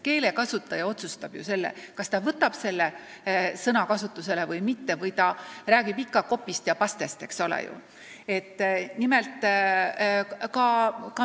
Keelekasutaja otsustab ju, kas ta kasutab üht või teist eestikeelset sõna, kas ta räägib ikka copy'st ja paste'ist või mitte.